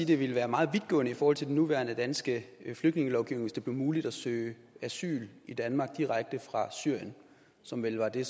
det ville være meget vidtgående i forhold til den nuværende danske flygtningelovgivning hvis det blev muligt at søge asyl i danmark direkte fra syrien som vel var det